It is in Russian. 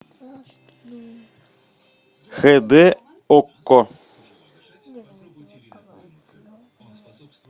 хэ дэ окко